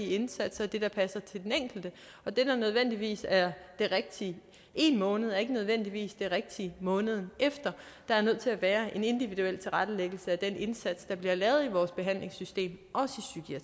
indsatser og det der passer til den enkelte og det der nødvendigvis er det rigtige en måned er ikke nødvendigvis det rigtige måneden efter der er nødt til at være en individuel tilrettelæggelse af den indsats der bliver lavet i vores behandlingssystem også